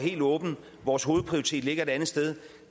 vores hovedprioritet ligger et andet sted